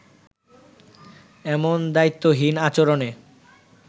এমন দায়িত্বহীন আচরণে